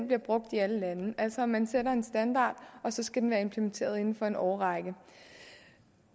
bliver brugt i alle lande altså man sætter en standard og så skal den være implementeret inden for en årrække